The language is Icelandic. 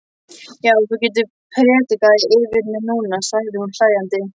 Já, þú getur prédikað yfir mér núna, sagði hún hlæjandi.